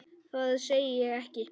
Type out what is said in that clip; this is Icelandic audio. Það segi ég ekki.